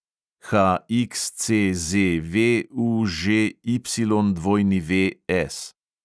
HXCZVUŽYWS